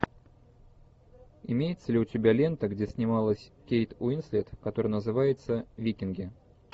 имеется ли у тебя лента где снималась кейт уинслет которая называется викинги